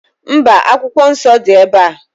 Mba, Akwụkwọ Nsọ dị ebe a.